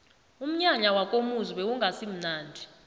umnyanya wakomuzi bewungasimunandi